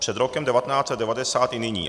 Před rokem 1990 i nyní.